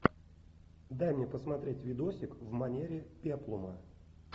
дай мне посмотреть видосик в манере пеплума